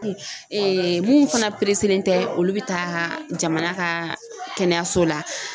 mun fana tɛ olu bɛ taa jamana ka kɛnɛyaso la